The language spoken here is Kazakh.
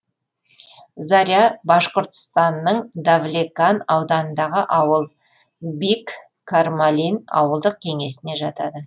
заря башқұртстанның давлекан ауданындағы ауыл бик кармалин ауылдық кеңесіне жатады